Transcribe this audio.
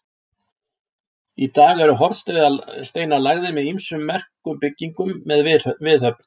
Í dag eru hornsteinar lagðir að ýmsum merkum byggingum með viðhöfn.